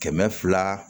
Kɛmɛ fila